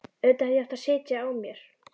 Auðvitað hefði ég átt að sitja á mér.